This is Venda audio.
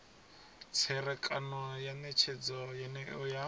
tserekano ya netshedzo yeneyo ya